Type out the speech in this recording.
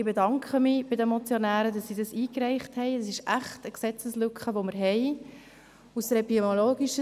Ich bedanke mich bei den Motionären für die Einreichung dieser Motion.